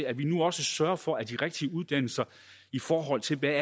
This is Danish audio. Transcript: at vi nu også sørger for at de rigtige uddannelser i forhold til hvad